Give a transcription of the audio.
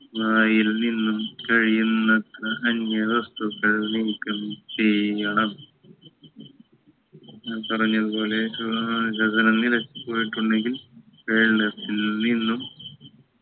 വായിൽ നിന്ന് കഴിയുന്നത്ര അന്യ വസ്തുക്കൾ നീക്കം ചെയ്യണം ഞാൻ പറഞ്ഞത് പോലെ ഏർ ഗഗനം നിലച്ചു നിക്കുന്നെങ്കിൽ വെള്ളത്തിൽ നിന്നും